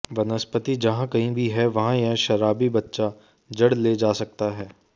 वनस्पति जहां कहीं भी है वहां यह शराबी बच्चा जड़ ले जा सकता है